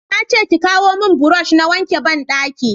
na ce ki kawo mun burosh na wanke banɗaki